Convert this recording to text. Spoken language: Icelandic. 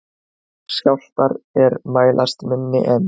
Skjálftar er mælast minni en